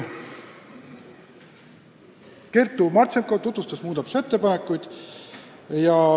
Kertu Martšenkov tutvustas muudatusettepanekuid.